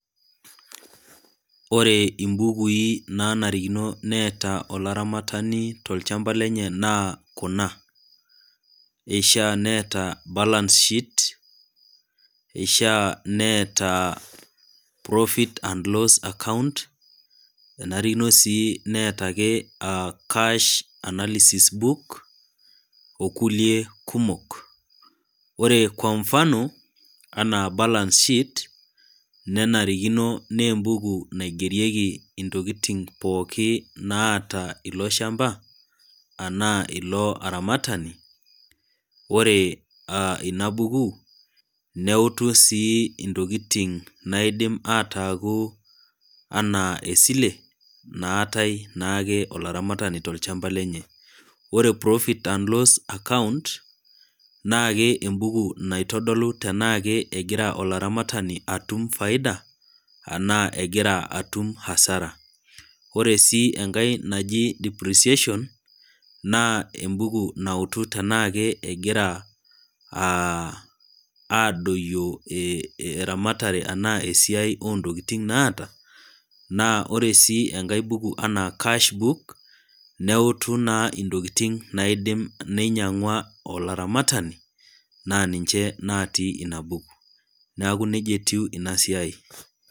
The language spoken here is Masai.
Ore imbukui nanarikino neeta olaramatani tolchamba lenye naa kuna : eishiaa neeta balance sheet eishiaa neeta profit and loss account enarikino sii neetaake cash analysis book okulie kumok. Ore kwa mfano anaa balance sheet, nenarikino naa embuku naigerieki intokitin pookin naata iloshamba anaa iloaramatani ore ilo ,inabuku neutu sii intokitin naidim ataaku anaa esile naatae naake olaramatani tolchamba lenye. Ore profit and loss account naa ke embuku naitodolu tenake egira olaramatani atuma faida enaa egira atum hasara . Ore sii enkae naji depreciation naa embuku nautu tenaake egira aa adoyio eramtare enaa esiai ontokitin naata naa ore sii enkae buku anaa cash book neutu naa intokitin naidim ninyiangwa naa ninche naati inabuku neeku nejia etiu inasiai.